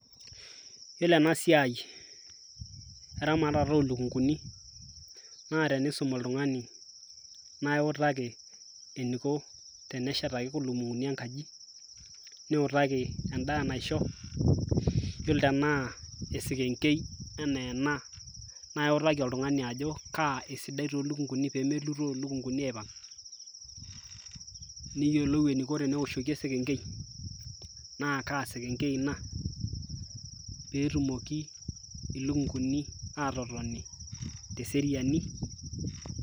iyiolo ena siai eramatata oolukunkuni, naa tenisum oltungani naa iutaki eneiko teneshetaki ilukunkuni enkaji. niutaki edaa naisho, iyiolo tenaa esekenkei anaa ena, naa iliki oltungani ajo kaa esidai too lukunkuni, pee melutoo lukunkuni aipang'.neyiolou eniko teneoshoki esekenkei, naa kaa sekenkei ina. pee etumoki ilukunkuni aatotoni teseriani.